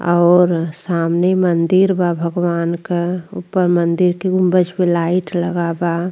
और सामने मंदिर बा भगवान क। ऊपर मंदिर के दसगो लाइट लगा बा।